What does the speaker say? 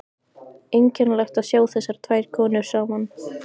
Einkennilegt að sjá þessar tvær konur saman.